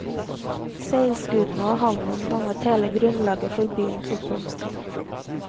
Seilskutene og havnen dannet hele grunnlaget for byens oppblomstring.